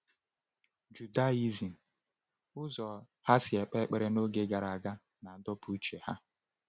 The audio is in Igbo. Judaism, ụzọ ha si ekpe ekpere n’oge gara aga, na-adọpụ uche ha.